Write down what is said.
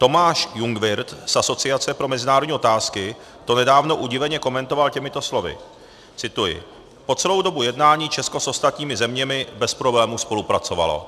Tomáš Jungwirth z Asociace pro mezinárodní otázky to nedávno udiveně komentoval těmito slovy - cituji: "Po celou dobu jednání Česko s ostatními zeměmi bez problémů spolupracovalo."